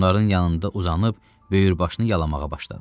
Onların yanında uzanıb böyür başını yalamağa başladı.